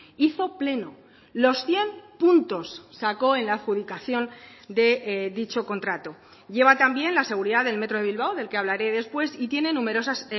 hizo pleno los cien puntos sacó en la adjudicación de dicho contrato lleva también la seguridad del metro de bilbao del que hablaré después y tiene numerosas